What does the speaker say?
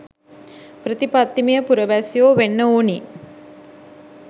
ප්‍රතිපත්තිමය පුරවැසියෝ වෙන්න ඕනි